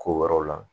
Ko wɛrɛw la